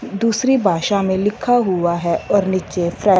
दूसरी भाषा में लिखा हुआ है और नीचे फ्रा--